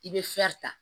I bɛ ta